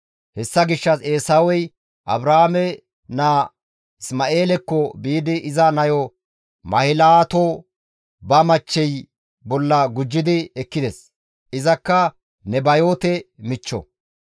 Hessa gishshas Eesawey Abrahaame naa Isma7eelekko biidi iza nayo Mahilaato ba machchey bolla gujji ekkides. Izakka Nebayoote michcho.